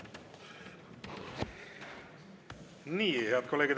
Head kolleegid!